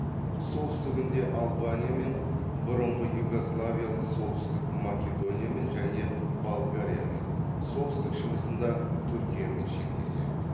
солтүстігінде албаниямен бұрынғы югославиялық солтүстік македониямен және болгариямен солтүстік шығысында түркиямен шектеседі